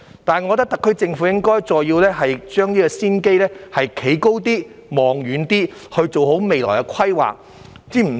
不過，我認為特區政府應就這個先機再站高一點、望遠一點，做好未來規劃。